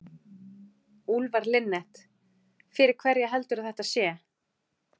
Úlfar Linnet: Fyrir hverja heldurðu að þetta sé?